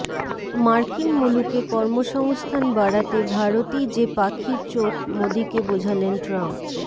মার্কিন মুলুকে কর্মসংস্থান বাড়াতে ভারতই যে পাখির চোখ মোদীকে বোঝালেন ট্রাম্প